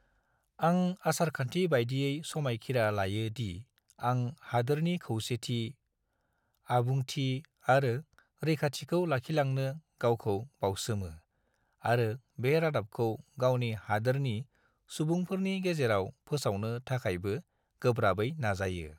आं आसारखान्थि बायदियै समायखिरा लायो दि आं हादोरनि खौसेथि, आबुंथि आरो रैखाथिखौ लाखिलांनो गावखौ बाउसोमो आरो बे रादाबखौ गावनि हादोरनि सुबुंफोरनि गेजेराव फोसावनो थाखायबो गोब्राबै नाजायो।